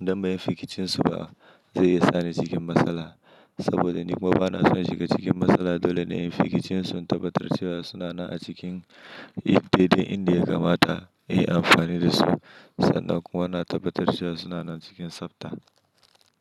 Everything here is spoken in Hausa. idan ba yi fificin su ba zai iya sa ni cikin matsala. Saboda ni kuma bana so na shiga cikin matsala dole ne in yi fificin sun in tabbatar cewa sunana a cikin hidimor India kamata in yi amfani da su. Sannan kuma na tabbatar cewa sunana cikin tsafta.